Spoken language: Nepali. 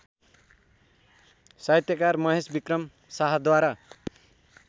साहित्यकार महेशविक्रम शाहद्वारा